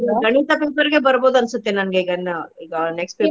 ಗಣಿತ paper ಗೆ ಬರ್ಬಹುದು ಅನ್ಸುತ್ತೆ ನಂಗೆ ಈಗಾ next paper .